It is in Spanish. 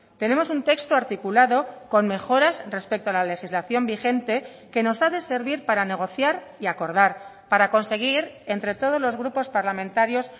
tenemos un texto articulado con mejoras respecto a la legislación vigente que nos ha de servir para negociar y acordar para conseguir entre todos los grupos parlamentarios